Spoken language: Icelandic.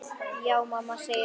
Já mamma, segir hann.